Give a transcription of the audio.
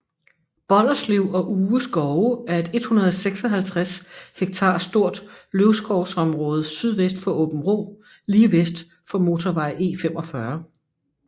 Bolderslev og Uge skove er et 156 hektar stort løvskovsområde sydvest for Åbenrå lige vest for motorvej E45